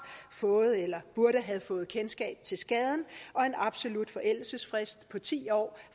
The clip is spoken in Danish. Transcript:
fået eller burde have fået kendskab til skaden og en absolut forældelsesfrist på ti år